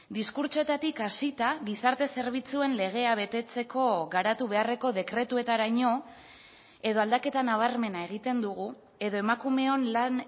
diskurtsoetatik hasita gizarte zerbitzuen legea betetzeko garatu beharreko dekretuetaraino edo aldaketa nabarmena egiten dugu edo emakumeon lan